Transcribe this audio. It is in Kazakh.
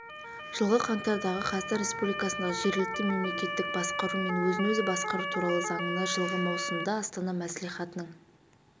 жылғы қаңтардағы қазақстан республикасындағы жергілікті мемлекеттік басқару мен өзін-өзі басқару туралы заңына жылғы маусымда астана мәслихатының